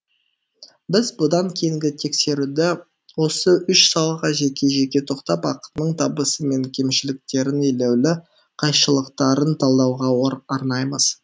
біз бұдан кейінгі тексеруді осы үш салаға жеке жеке тоқтап ақынның табысы мен кемшіліктерін елеулі қайшылықтарын талдауға арнаймыз